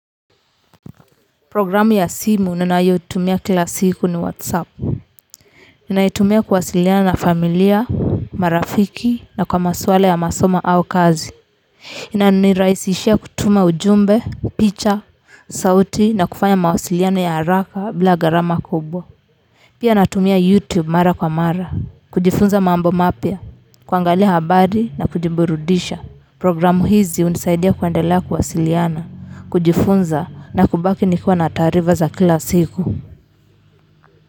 Programu ya simu ninayotumia kila siku ni whatsapp naitumia kuwasiliana na familia marafiki na kwa maswala ya masomo au kazi inanirahisishia kutuma ujumbe picha sauti na kufanya mawasiliano ya haraka bila gharama kubwa pia natumia youtube mara kwa mara kujifunza mambo mapya kuangalia habari na kujiburudisha programu hizi hunisaidia kuendela kuwasiliana, kujifunza na kubaki nikiwa na taarifa za kila siku.